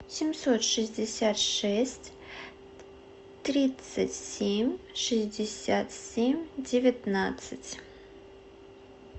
семьсот шестьдесят шесть тридцать семь шестьдесят семь девятнадцать